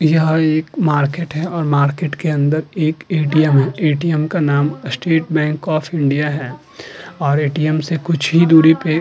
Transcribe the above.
यह एक मार्केट है और मार्केट के अंदर एक एटीएम में एटीएम का नाम स्टेट बैंक आफ इंडिया है और एटीएम से कुछ ही दूरी पे --